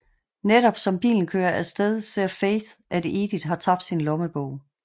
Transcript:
Netop som bilen kører af sted ser Faith at Edith har tabt sin lommebog